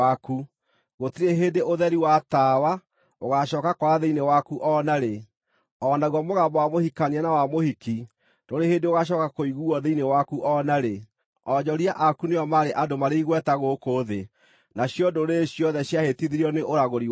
Gũtirĩ hĩndĩ ũtheri wa tawa ũgacooka kwara thĩinĩ waku o na rĩ. O naguo mũgambo wa mũhikania na wa mũhiki ndũrĩ hĩndĩ ũgaacooka kũiguuo thĩinĩ waku o na rĩ. Onjoria aku nĩo maarĩ andũ marĩ igweta gũkũ thĩ. Nacio ndũrĩrĩ ciothe ciahĩtithirio nĩ ũragũri waku.